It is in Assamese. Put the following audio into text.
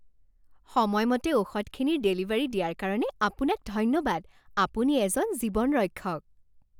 সময়মতে ঔষধখিনিৰ ডেলিভাৰী দিয়াৰ কাৰণে আপোনাক ধন্যবাদ। আপুনি এজন জীৱন ৰক্ষক।